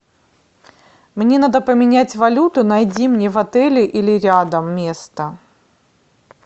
мне надо поменять валюту найди мне в отеле или рядом место